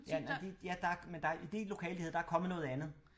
Ja i det lokale de havde der er kommet noget andet